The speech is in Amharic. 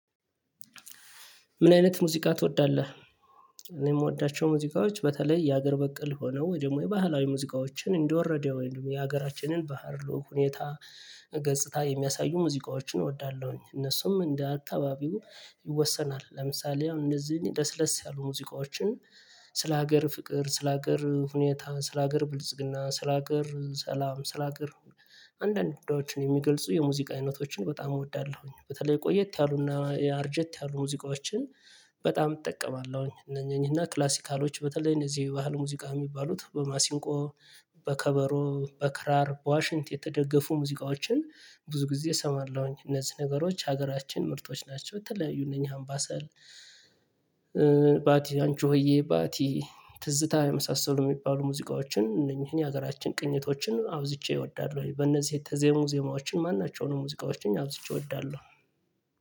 ምን አይነት ሙዚቃ ትወዳለህ? እኔ የምወዳቸው ሙዚቃዎች በተለይ የሀገር በቀል ሆነው ወይ ደግሞ የባህላዊ ሙዚቃዎችን እንደወረደው የሀገራችንን ባህር ሁኔታ ገጽታ የሚያሳዩ ሙዚቃዎችን እወዳለሁኝ። እነሱም እንደ አካባቢው ይወሰናል። ለምሳሌ እንደዚህ ለስለስ ያሉ ሙዚቃዎችን ስለ ሀገር ፍቅር ስለ ሀገር ሁኔታ ስለ ሀገር ብልጽግና ስለ ሀገር ሰላም ስለ ሀገር አንዳንዶችን የሚገልጹ የሙዚቃ አይነቶችን በጣም እወዳለሁኝ። በተለይ ቆየት ያሉና አርጀት ያሉ ሙዚቃዎችን በጣም እጠቀማለሁኝ። እነኚህና ክላሲካሎች በተለይ እነዚህ የባህል ሙዚቃ የሚባሉት በማሲንቆ በከበሮ በከራር በዋሽንት የተደገፉ ሙዚቃዎችን ብዙ ጊዜ እሰማለሁኝ። እነዚህ ነገሮች ሀገራችን ምርቶች ናቸው። የተለያዩ እነኚህ አምባሳል ባቲ አንቺ ሆዬ ባቲ ትዝታ የመሳሰሉ የሚባሉ ሙዚቃዎችን እነኚህን የሀገራችን ቅኝቶችን አብዝቼ እወዳለሁ። ወይ በእነዚህ የተዜሙ ዜማዎችን ማናቸውንም ሙዚቃዎችን አብዝቼ እወዳለሁ።